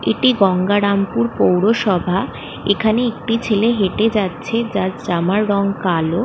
এটি গঙ্গারামপুর পৌরসভা এখানে একটি ছেলে হেটে যাচ্ছে যার জামার রং কালো।